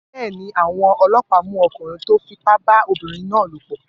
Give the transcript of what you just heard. Bẹ́ẹ̀ ni, àwọn ọlọ́pàá mú ọkùnrin tó fipá bá ọmọbìnrin náà lòpọ̀.